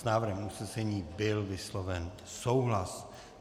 S návrhem usnesení byl vysloven souhlas.